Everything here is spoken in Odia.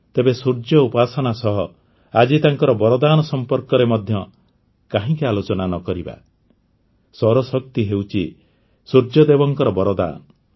ତେବେ ସୂର୍ଯ୍ୟ ଉପାସନା ସହ ଆଜି ତାଙ୍କ ବରଦାନ ସମ୍ପର୍କରେ ମଧ୍ୟ କାହିଁକି ଆଲୋଚନା ନ କରିବା ସୌରଶକ୍ତି ହେଉଛି ସୂର୍ଯ୍ୟଦେବଙ୍କ ବରଦାନ